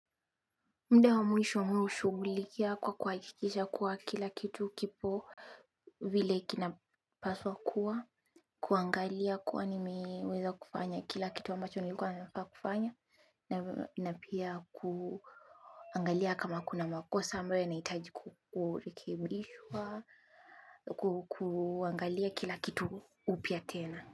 Muda wa mwisho mi hushughulikia kwa kuhakikisha kuwa kila kitu kipo vile kinapaswa kuwa kuangalia kuwa nimeweza kufanya kila kitu ambacho nilikuwa ninafaa kufanya. Na pia kuangalia kama kuna makosa ambayo nahitaji kurekebishwa kuangalia kila kitu upya tena.